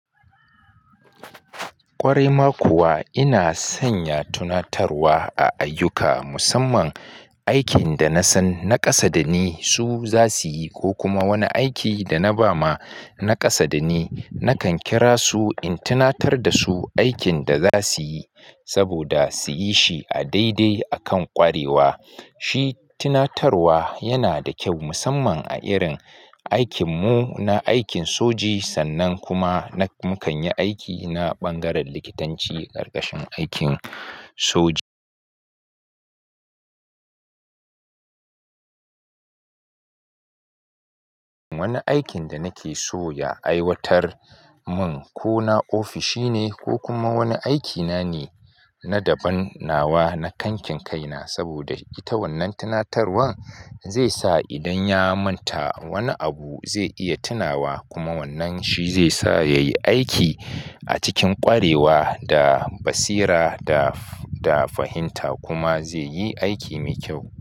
Ƙware ma kuwa ina sanya tunatarwa a ayyuka, musamman aikin da na san naƙasa da ni su za su yi ko kuma wani aiki da na ba ma naƙasa da ni. Nakan kira su in tunatar da su aikin da za su yi saboda su yi shi a daidai akan ƙwarewa. Shi tunatarwa yana da kyau musamman a irin aikin mu na aikin soji sannan kuma mukan yi aiki na ɓangaren likitanci ƙarƙashin aikin soji. Wani aikin da nake so ya aiwatar mun ko na ofishi ne ko kuma wani aikina ne na daban nawa na kankin kai na saboda ita wannan tunatarwan zai sa idan ya manta wani abu zai iya tunawa kuma wannan shi zai sa ya yi aiki a cikin ƙwarewa da basira da fahimta kuma zai yi aiki mai kyau.